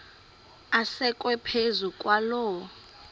asekwe phezu kwaloo